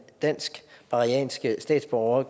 danske statsborger og